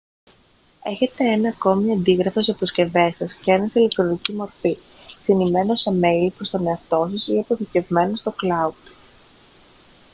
έχετε ένα ακόμη αντίγραφο στις αποσκευές σας και ένα σε ηλεκτρονική μορφή συνημμένο σε μέιλ προς τον εαυτό σας ή αποθηκευμένο στο «cloud»